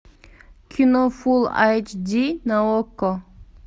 кино фул айч ди на окко